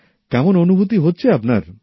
কেমন অনুভূতি হচ্ছে আপনার